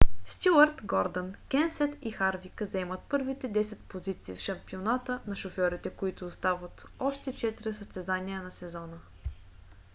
стюарт гордън кенсет и харвик заемат първите десет позиции в шампионата на шофьорите като остават още четири състезания за сезона